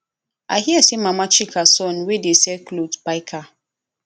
i hear say mama chika son wey dey sell cloth buy car